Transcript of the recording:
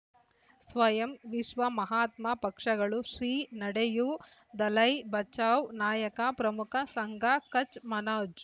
ಸ್ವಯಂ ವಿಶ್ವ ಮಹಾತ್ಮ ಪಕ್ಷಗಳು ಶ್ರೀ ನಡೆಯೂ ದಲೈ ಬಚೌ ನಾಯಕ ಪ್ರಮುಖ ಸಂಘ ಕಚ್ ಮನೋಜ್